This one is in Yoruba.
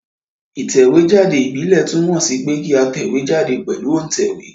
Ìtẹ̀wé jáde ìbílè túnmò sí pe kí a tẹ̀wé jáde pèlu òntẹ̀wé